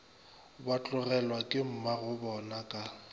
ba tlogelwa ke mmagobona ka